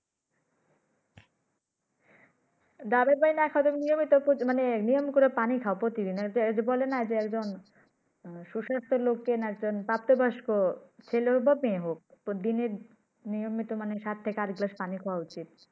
ডাবের পানি না খাও নিয়মিত মানে প্র নিয়ম করে পানি খাও প্রতিদিন এ যে বলে না সুস্বাস্থ্য লোকের না যান প্রাপ্ত বয়স্ক ছেলে হন আর মেয়ে হক প্রতি দিনের নিয়মিত মানে সাত থেকে আট গ্লাস পানি খাওয়া উচিৎ।